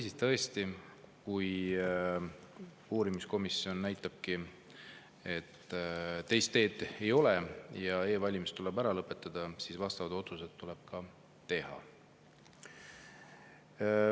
Ja tõesti, kui uurimiskomisjon näitabki, et teist teed ei ole ja e-valimised tuleb ära lõpetada, siis vastavad otsused tuleb ka teha.